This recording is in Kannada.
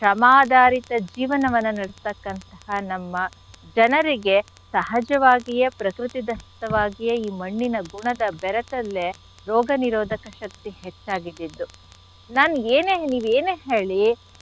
ಶ್ರಮಾಧಾರಿತ ಜೀವನವನ್ನ ನಡೆಸ್ತಕ್ಕಂಥಹ ನಮ್ಮ ಜನರಿಗೆ ಸಹಜವಾಗಿಯೇ ಪ್ರಕೃತಿದತ್ತವಾಗಿಯೇ ಈ ಮಣ್ಣಿನ ಗುಣದ ಬೆರೆತಲ್ಲೆ ರೋಗ ನಿರೋಧಕ ಶಕ್ತಿ ಹೆಚ್ಚಾಗಿದ್ದಿದ್ದು. ನಾನ್ ಏನ್ ನೀವ್ ಏನೇ ಹೇಳಿ.